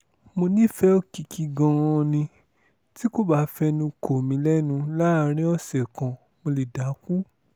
mo nífẹ̀ẹ́ òkìkí gan-an ni tí kò bá fẹnu kò mí lẹ́nu láàrin ọ̀sẹ̀ kan mo lè dákú